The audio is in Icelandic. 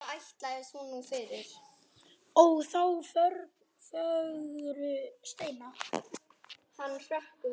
Ó þá fögru steina.